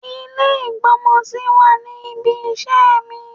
Ilé ìgb'ọ́mọ sí wà ní ibi iṣẹ́ mi.